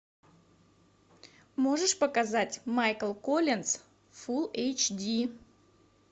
можешь показать майкл коллинз фулл эйч ди